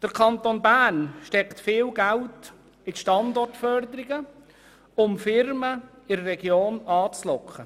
Der Kanton Bern steckt viel Geld in die Standortförderung, um Firmen in die Region zu locken.